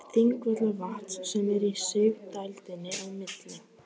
Þingvallavatns sem er í sigdældinni milli